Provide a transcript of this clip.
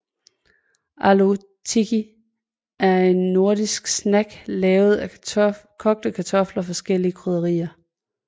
Aloo tikki er en nordindisk snack lavet af kogte kartofler og forskellige krydderier